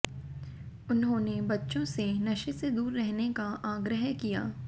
उन्होंने बच्चों से नशे से दूर रहने का आग्रह किया